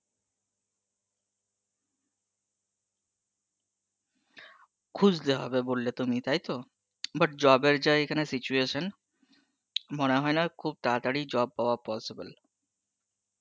হ খুজতে হবে বললে তুমি তাই তো? but job এর যা এখানে situation, মনে হয়েনা খুব তাড়াতাড়ি job পাওয়া possible